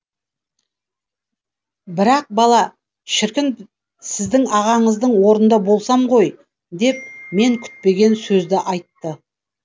бірақ бала шіркін сіздің ағаңыздың орнында болсам ғой деп мен күтпеген сөзді айтты